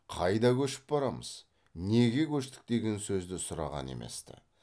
қайда көшіп барамыз неге көштік деген сөзді сұраған емес ті